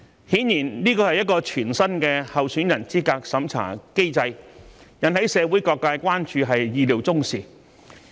顯然，這是全新的候選人資格審查機制，引起社會各界關注是意料中事。